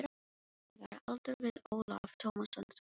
Ég var á aldur við Ólaf Tómasson þá.